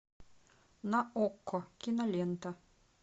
на окко кинолента